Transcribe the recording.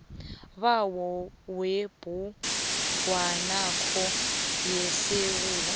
bayo yebhugwanakho yesewula